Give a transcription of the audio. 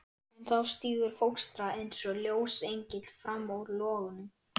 En þá stígur fóstra eins og ljósengill fram úr logunum.